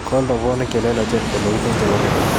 Kool robwonik che lelachen koloite chebo keny